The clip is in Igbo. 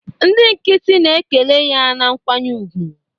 Ndị nkịtị na-ekele ya na nkwanye ùgwù